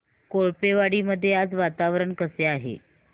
कोळपेवाडी मध्ये आज वातावरण कसे आहे